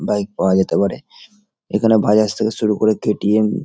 Bike পাওয়া যেতে পারে এখানে বাজাজ থেকে শুরু করে কে.টি.এম. --